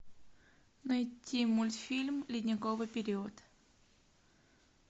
найти мультфильм ледниковый период